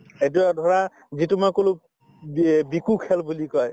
এইটো অ ধৰা যিটো মই কলো খেল বুলি কয়